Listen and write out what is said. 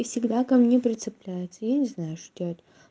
и всегда ко мне прицепляется я не знаю что делать